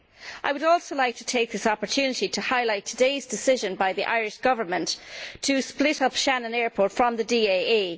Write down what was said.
I would also like to take this opportunity to highlight today's decision by the Irish Government to split Shannon Airport from the DAA.